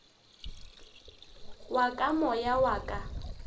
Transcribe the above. wa ka moya wa ka